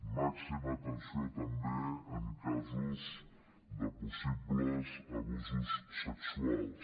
màxima atenció també en casos de possibles abusos sexuals